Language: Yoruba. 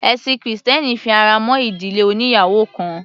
Ẹ̀sin krìstẹ́nì fi ara mọ́ ìdílé oníyàwò kan.